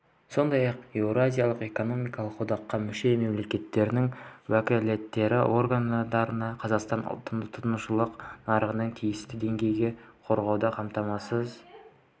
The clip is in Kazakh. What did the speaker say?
сондай-ақ еуразиялық экономикалық одаққа мүше мемлекеттердің уәкілетті органдарына қазақстан тұтынушылық нарығының тиісті деңгейін қорғауды қамтамасыз